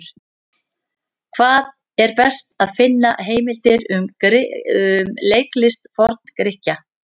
Hvar er best að finna heimildir um leiklist Forn-Grikkja?